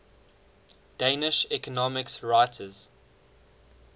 danish economics writers